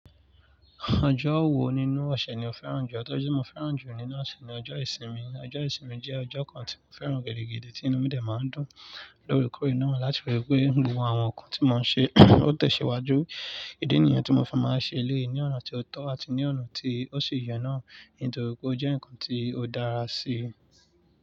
Ọjọ́ wo nínú ọ̀ṣẹ̀ ni o fẹ́ràn jù? Ọjọ́ tí mo fẹ́ràn jù nínú ọ̀ṣẹ̀ ni ọjọ́ ìsinmi. Ọjọ́ ìsinmi jẹ́ ọjọ́ kan tí mo fẹ́ràn gidi ti inú mi de máa ń dùn lórekore na láti fi rí pé gbogbo àwọn nǹkan tí mo ń ṣe ó tẹ̀síwájú. Ídí nìyẹn tí mo fi máa ń ṣe eléyìí ní ọ̀nà tó tọ́ àti ní ọ̀nà tí ó ṣi ye náà. Nítorí pé ó jẹ́ nǹkan tí ó dára sí i.